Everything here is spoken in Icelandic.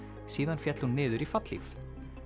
síðan féll hún niður í fallhlíf